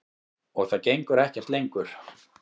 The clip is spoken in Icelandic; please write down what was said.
Og það gengur ekkert lengur.